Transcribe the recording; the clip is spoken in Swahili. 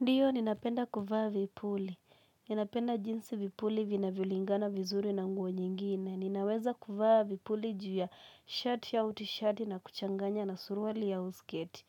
Ndio ninapenda kuvaa vipuli. Ninapenda jinsi vipuli vinavyolingana vizuri na nguo nyingine. Ninaweza kuvaa vipuli ju ya shirt ya t-shirt na kuchanganya na suruali ya usketi.